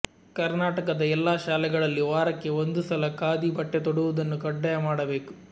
ಕರ್ನಾಟಕದ ಎಲ್ಲ ಶಾಲೆಗಳಲ್ಲಿ ವಾರಕ್ಕೆ ಒಂದು ಸಲ ಖಾದಿ ಬಟ್ಟೆ ತೊಡುವುದನ್ನು ಖಡ್ಡಾಯ ಮಾಡಬೇಕು